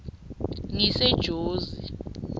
ngisejozi